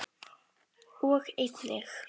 og einnig